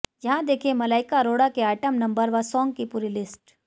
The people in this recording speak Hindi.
यहां देखें मलाइका अरोड़ा के आइटम नंबर व सॉन्ग की पूरी लिस्ट